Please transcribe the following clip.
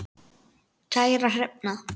Kæra Hrefna